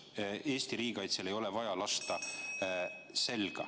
Eesti riigikaitsele ei ole vaja selga lasta.